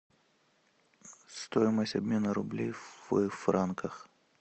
стоимость обмена рублей в франках